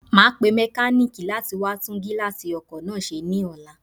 Màá pe mékáníìkì látí wá tún gíláàsì ọkò náà se ní ọlá